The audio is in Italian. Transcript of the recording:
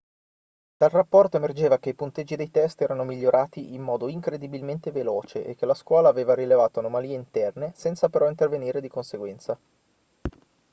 dal rapporto emergeva che i punteggi dei test erano migliorati in modo incredibilmente veloce e che la scuola aveva rilevato anomalie interne senza però intervenire di conseguenza